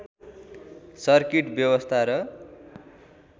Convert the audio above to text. circuit व्यवस्था र